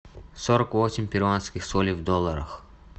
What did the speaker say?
сорок восемь перуанских солей в долларах